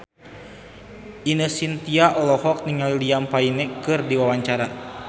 Ine Shintya olohok ningali Liam Payne keur diwawancara